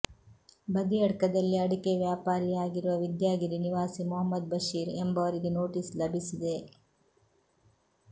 ಬದಿಯಡ್ಕದಲ್ಲಿ ಅಡಿಕೆ ವ್ಯಾಪಾರಿಯಾಗಿರುವ ವಿದ್ಯಾಗಿರಿ ನಿವಾಸಿ ಮೊಹಮ್ಮದ್ ಬಷೀರ್ ಎಂಬವರಿಗೆ ನೋಟೀಸು ಲಭಿಸಿದೆ